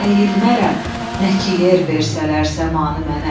əyilmərəm, nə ki yer versələr səmanı mənə.